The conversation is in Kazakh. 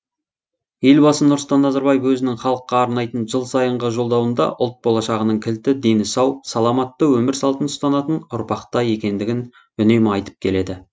елбасы нұрсұлтан назарбаев өзінің халыққа арнайтын жылсайынғы жолдауында ұлт болашағының кілті дені сау саламатты өмір салтын ұстанатын ұрпақта екендігін үнемі айтып келеді